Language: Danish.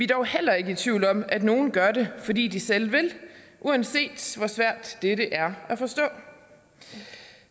dog heller ikke i tvivl om at nogen gør det fordi de selv vil uanset hvor svært dette er at forstå